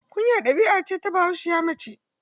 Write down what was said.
Kunya ɗabi'a ce ta Bahaushiya mace.